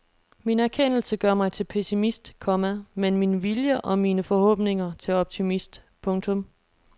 Min erkendelse gør mig til pessimist, komma men min vilje og mine forhåbninger til optimist. punktum